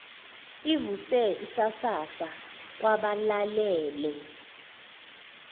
ivuse isasasa kwabalalele